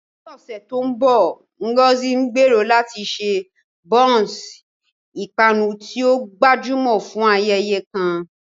Ní ọ̀sẹ̀ tó ń bọ̀, Ngozi gbèrò láti ṣe bounce, ìpanu tí ó gbajúmọ̀, fún ayẹyẹ kan.